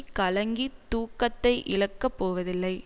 கலங்கி தூக்கத்தை இழக்கப் போவதில்லை